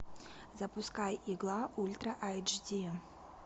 запускай игла ультра айч ди